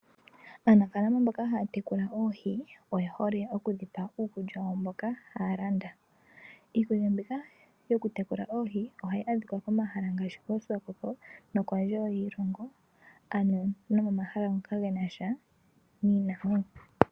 Aanafaalama mboka ha ya tekula oohi oye hole oku dhipa uukulya wadho mboka ta ya landa. Iilonga yoku tekula oohi omahala ngoka genasha niinamwenyo.